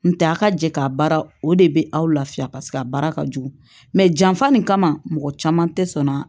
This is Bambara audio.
N tɛ a ka jɛ k'a baara o de bɛ aw lafiya paseke a baara ka jugu mɛ janfa nin kama mɔgɔ caman tɛ sɔn ka